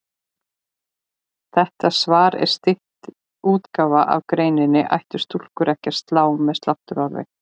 Þetta svar er stytt útgáfa af greininni Ættu stúlkur ekki að slá með sláttuorfi?